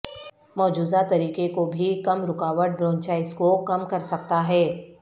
مجوزہ طریقہ کو بھی کم رکاوٹ برونچائٹس کو کم کر سکتا ہے